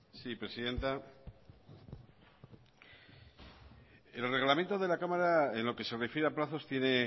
sí presidenta el reglamento de la cámara en lo que se refiere a plazos tiene